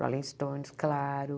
Rolling Stones, claro.